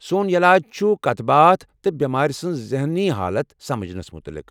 سون علاج چھُ کتھ باتھ تہٕ بٮ۪مار سنٛز ذہنی حالت سمجھنس متعلق۔